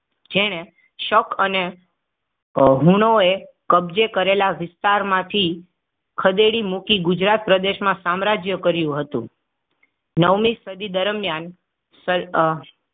જેને શક અનેઅ હુનોએ કબજે કરેલા વિસ્તારમાં થી ખદેડી મૂકી. ગુજરાત પ્રદેશમાં સામ્રાજ્ય કર્યું હતું. નવમી સદી દરમિયાન સર